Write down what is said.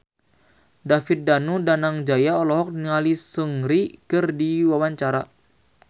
David Danu Danangjaya olohok ningali Seungri keur diwawancara